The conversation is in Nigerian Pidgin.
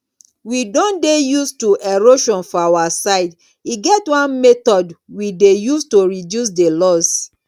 we don dey used to erosion for our side e get one method we dey use to reduce the loss